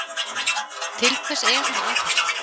Til hvers er hann að þessu?